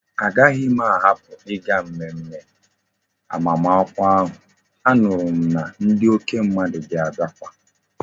A gahi m a hapu iga mmemme agbam akwukwo ahu anuru m na ndi oke mmadu ga abiakwa